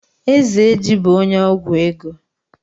Ezeji bú onye ọgwụ ego.